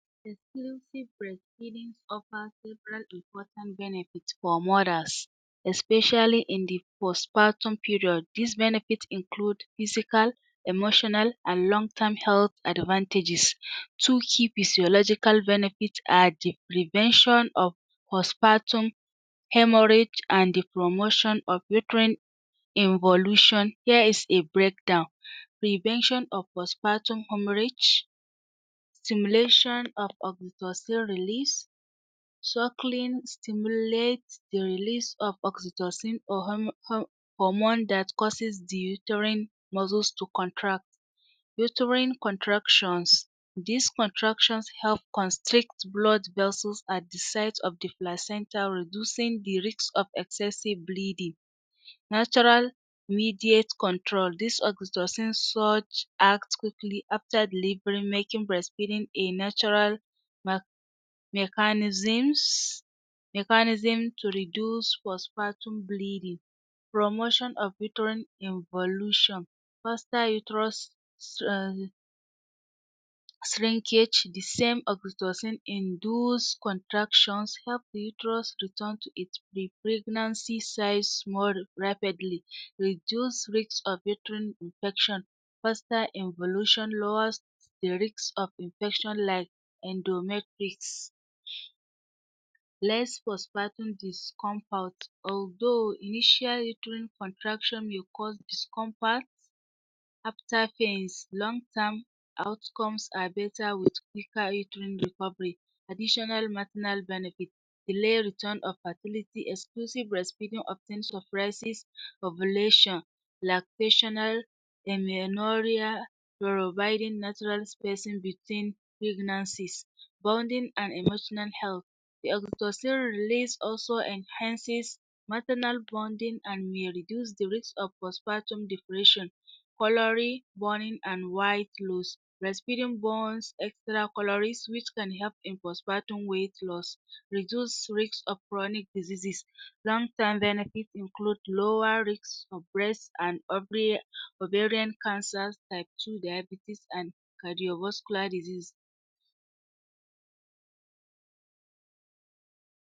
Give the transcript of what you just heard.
Exclusive breast feeding offers several important benefits for mothers especially in the post-patrum period, these benefits include physical, emotional and long term health advantages two key physiological benefits are the prevention of post-patrum haemorrage and the promotion of different involution. Here is a breakdown prevention of post-patrum haemorrage stimulation of oxytocin release, suckling stimulates the release of oxytocin em hormone that causes the uterine muscles to contract. Uterine contractions these contractions help constrict blood vessels at the site of the placenta reducing the risk of excessive bleeding. Natural mediate control, this oxytocin such act quickly after delivery making breast feeding a natural em mechanisms mechanism to mechanism to reduce post-patrum bleeding, promotion of uterine involutuion uterus em shrinkage the same oxytocin induced contractions help the uters return to its pre-pregnancy size more rapidly reduced risk of uterine infection foster involution lowers the risk of infection like endomatrix less post-patrum discomfort although initial uterine contraction may cause discompat after pains, long term outcomes are better with uterine additional benefit delay retu delay return of fertility, exclusive breast feeding often suppresses ovulation lactational providing natural spacing between pregnancies, bonding and emotional health, the oxytocin realease also enhances personal bonding and may reduce the risk of post-patrum depression, calorie burning and weight loss, breast feeding burns extra calories which can help in post-patrum weigt loss reduce risk of chronic diseases long term benefits include lower risk of breast and [? ovarian cancer, type II daibetes and cardiovascular diseases